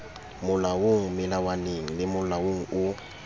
molaong melawaneng le molaong o